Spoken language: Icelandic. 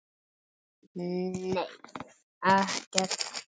Nei, ekkert þannig